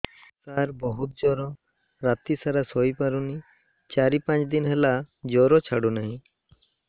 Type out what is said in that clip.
ସାର ବହୁତ ଜର ରାତି ସାରା ଶୋଇପାରୁନି ଚାରି ପାଞ୍ଚ ଦିନ ହେଲା ଜର ଛାଡ଼ୁ ନାହିଁ